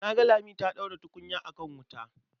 Na ga Lami ta ɗaura tukunya a kan wuta.